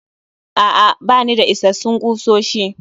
A'a, bani da isassun kusoshi